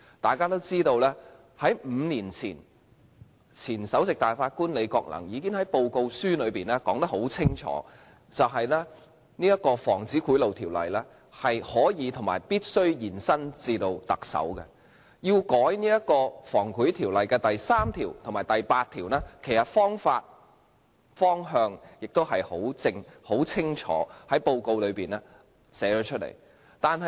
大家都知道 ，5 年前，前首席大法官李國能已經在報告書清楚說明，《防止賄賂條例》是可以及必須延伸至特首，修改《防止賄賂條例》第3條及第8條的方法和方向亦已清楚載於報告書內。